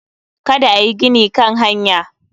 Kada ayi gini Kan hanya